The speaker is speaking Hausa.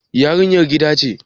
yarinyar gida ce